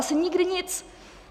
Asi nikdy nic.